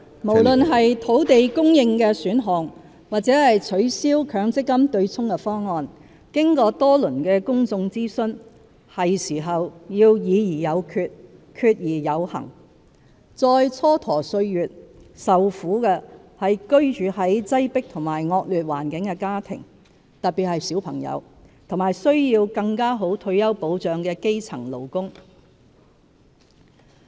無論是土地供應的選項，或取消強積金"對沖"的方案，經過多輪的公眾諮詢，是時候要"議而有決、決而有行"，再蹉跎歲月，受苦的是居住在擠迫和惡劣環境的家庭，特別是小朋友，以及需要更好退休保障的基層勞工。